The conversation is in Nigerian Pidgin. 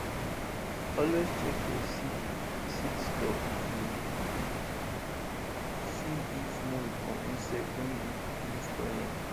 always check your seed seed stock to see if mould or insect don begin spoil am